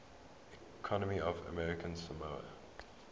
economy of american samoa